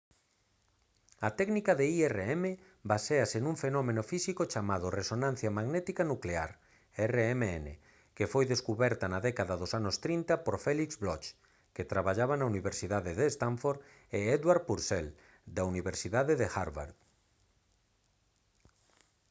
a técnica de irm baséase nun fenómeno físico chamado resonancia magnética nuclear rmn que foi descuberta na década dos anos 30 por felix bloch que traballaba na universidade de stanford e edward purcell da universidade de harvard